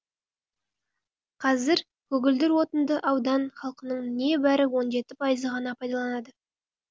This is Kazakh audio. қазір көгілдір отынды аудан халқының небәрі он жеті пайызы ғана пайдаланады